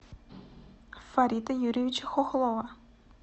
фарита юрьевича хохлова